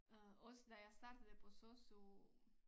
Øh også da jeg startede på sosu